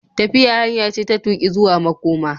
Tafiya hanya ce ta tuƙi zuwa makoma.